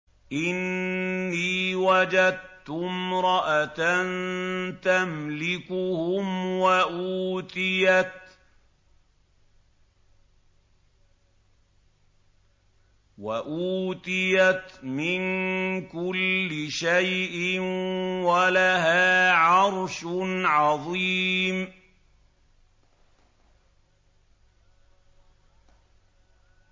إِنِّي وَجَدتُّ امْرَأَةً تَمْلِكُهُمْ وَأُوتِيَتْ مِن كُلِّ شَيْءٍ وَلَهَا عَرْشٌ عَظِيمٌ